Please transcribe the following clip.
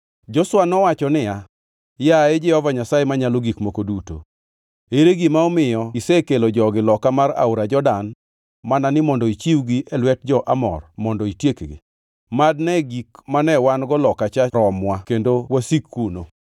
Joshua nowacho niya, “Yaye, Jehova Nyasaye Manyalo Gik Moko Duto, ere gima omiyo isekelo jogi loka mar aora Jordan mana ni mondo ichiwgi e lwet jo-Amor mondo itiekgi? Mad ne gik mane wan-go loka cha romwa kendo wasik kuno!